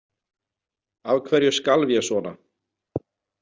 Af hverju skalf ég svona?